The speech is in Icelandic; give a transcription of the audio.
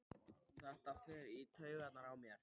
Þetta fer í taugarnar á mér.